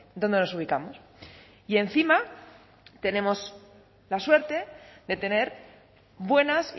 donde nos ubicamos y encima tenemos la suerte de tener buenas